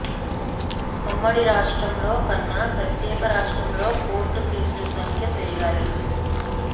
ఉమ్మడి రాష్ట్రంలో కన్నా ప్రత్యేక రాష్ట్రంలో కోర్టు కేసుల సంఖ్య పెరిగాయి